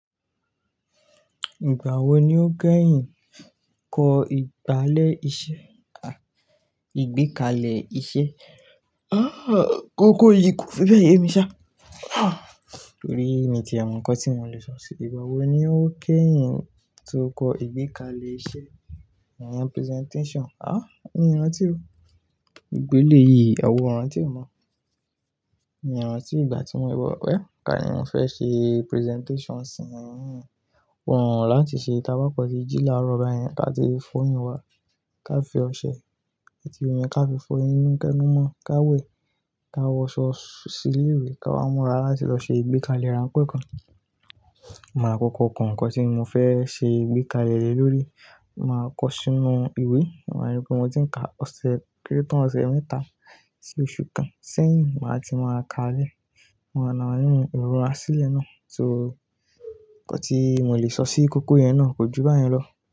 Ìgbà wo ni o gẹhin kọ ìgbálè iṣẹ́, à, ìgbékalè iṣẹ́? Àh, kókó yìí kò fi bẹ́ẹ̀ yemi ṣá. Àh, torí mi ti mọ ǹkan tí mo le sọ sí. Ìgbà wo ni o kẹhin tó kọ ìgbékalè iṣẹ́, ìyen presentation? Àh, mí rantí o, ìgbé ilé yìí, àwo-ọ̀ ràn tí e mọ̀. Mí rantí ìgbà tí mo. Well, ká ní mo fẹ́ ṣe presentation sí yín. Wọn wò láti ṣe, táa bá kọ̀n sí ìjì lára ba yẹn ká ti f'óyìn wá ká fi ọṣẹ, atí omi ká fi f'óyìn mú kẹ́numọ́ ká wẹ̀ ká wọṣọ sí ilé ìwé ká wá múra láti lọ ṣe ìgbékalè rán pẹ̀kàn. Màá kọ̀kọ̀ kọ̀ nǹkan tí mo fẹ́ ṣe ìgbékalè rẹ̀ lórí. Màá kọ sínú ìwé. Wọn máa rí pé mo ti ń ka ọ̀sẹ̀ kéré tán ọ̀sẹ̀ mẹ́ta sí oṣù kan. Sẹ́yìn máa ti máa ka lẹ́ẹ̀. Wọn á na yín ìrọ́ra sílẹ̀ ná. So nǹkan tí mo le sọ sí ikókó yẹn ná, ko jù báyẹn lọ.